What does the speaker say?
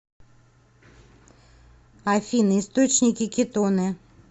афина источники кетоны